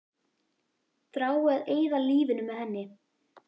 Þrái að eyða lífinu með henni.